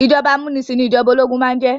Ìjọba amúnisìn ní ìjọba ológun máà ń jẹ́.